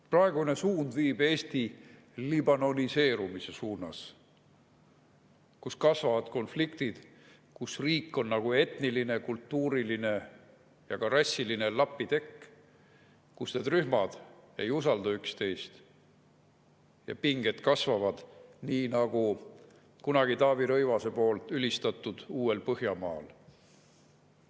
Praegune suund viib Eesti liibanoniseerumise suunas, kus kasvavad konfliktid, kus riik on nagu etniline, kultuuriline ja rassiline lapitekk, kus need rühmad ei usalda üksteist, ja pinged kasvavad nii nagu kunagi Taavi Rõivase poolt ülistatud uuel põhjamaal.